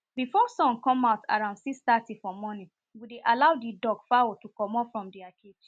before sun come out around six-thirty for morning we dey allow the duck fowl to comot from their cage